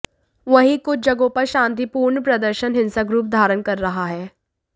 वहीं कुछ जगहों पर शांतिपूर्ण प्रदर्शन हिंसक रूप धारण कर रहा है